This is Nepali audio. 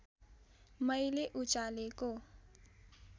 मैले उचालेको